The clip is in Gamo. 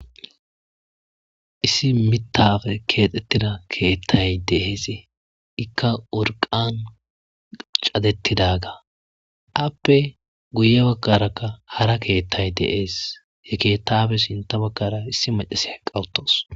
Esi mixafe kexsetida kexey deas eka urkan chadetidaga afe guye bagaraka hara kexay deas he kexafe sinta bagaraka esi machesiya eka utawus